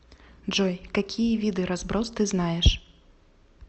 джой какие виды разброс ты знаешь